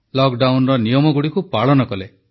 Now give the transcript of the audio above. ଲକଡାଉନର ନିୟମଗୁଡ଼ିକୁ ପାଳନ କଲେ